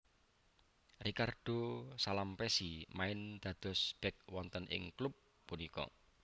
Ricardo Salampessy main dados bek wonten ing klub punika